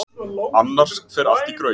Annars fer allt í graut.